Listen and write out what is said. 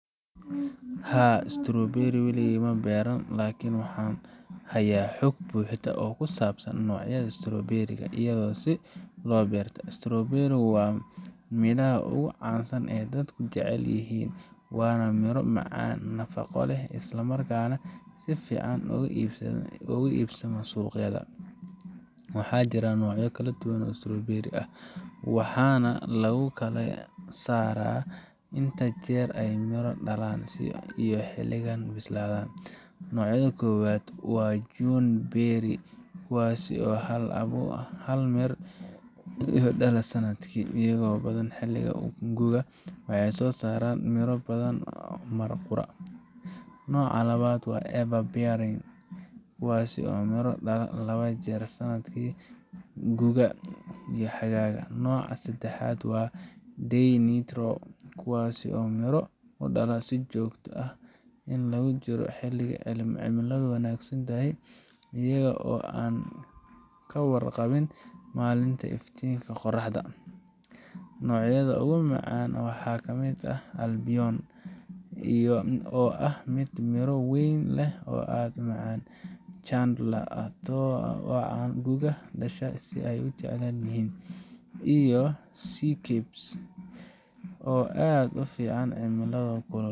Haa, strawberry weligay ma beeran, laakin waxaan hayaa xog buuxda oo kusaabsan noocyada strawberry ga iyo sida loo beerto. strawberry waa midhaha ugu caansan ee dadku jecel yihiin, waana miro macaan, nafaqo leh, isla markaana si fiican uga iibsamo suuqyada. Waxaa jira noocyo kala duwan oo strawberry ah, waxaana lagu kala saaraa inta jeer ay miro dhalaan iyo xilliga ay bislaadaan. Nooca koowaad waa June bearing kuwaas oo hal mar miro dhala sanadka, inta badan xilliga gu’ga, waxayna soo saaraan miro badan mar qura. Nooca labaad waa Ever bearing, kuwaas oo miro dhala laba jeer sanadka, guga iyo xagaaga. Nooca saddexaad waa Day neutral, kuwaas oo miro dhala si joogto ah inta lagu jiro xilli cimiladu wanaagsan tahay, iyaga oo aan ka warqabin maalinta ama iftiinka qoraxda. Noocyada ugu caansan waxaa ka mid ah Albion, oo ah mid miro weyn leh oo aad u macaan, Chandler oo ah nooca gu’ga dhasha oo aad loo jecel yahay, iyo Seascape oo aad ugu fiican cimilada kulul.